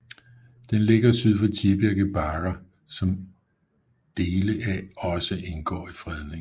Den ligger syd for Tibirke Bakker som dele af også indgår i fredningen